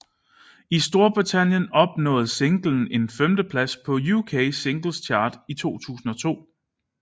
I Storbritannien opnåede singlen en femteplads på UK Singles Chart i 2002